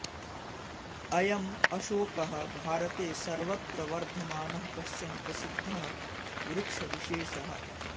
अयम् अशोकः भारते सर्वत्र वर्धमानः कश्चन प्रसिद्धः वृक्षविशेषः